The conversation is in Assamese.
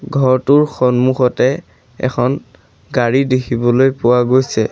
ঘৰটোৰ সন্মুখতে এখন গাড়ী দেখিবলৈ পোৱা গৈছে।